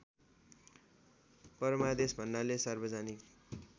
परमादेश भन्नाले सार्वजनिक